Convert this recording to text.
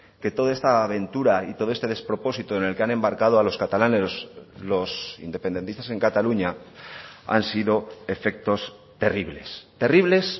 que toda esta aventura y todo este despropósito en el que han embarcado a los catalanes los independentistas en cataluña han sido efectos terribles terribles